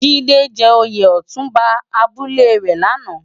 Jide jè óyé òtúnbá àbúlé rè làná